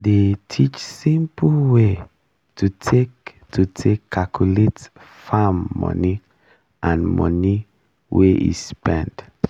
dey teach simple way to take to take calculate farm money and money wey e spend